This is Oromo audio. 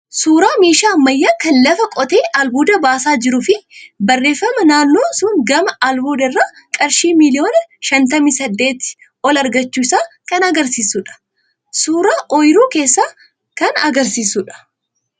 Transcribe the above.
Suuraa meeshaa ammayyaa kan lafa qotee albuuda baasaa jiruu fi barreeffama naannoon sun gama albuudaa irraa qarshii miliyoona shantamii saddeetii ol argachuu isaa kan agarsiisudha. Suuraa ooyiruu keessaa kan agarsiisudha.